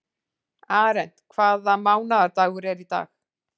Arent, hvaða mánaðardagur er í dag?